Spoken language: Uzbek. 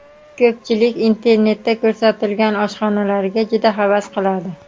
Ko‘pchilik internetda ko‘rsatilgan oshxonalarga juda havas qiladi.